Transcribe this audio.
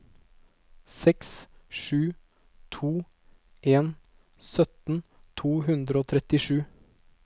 seks sju to en sytti to hundre og trettisju